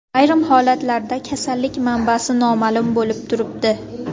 Ayrim holatlarda kasallik manbasi noma’lum bo‘lib turibdi.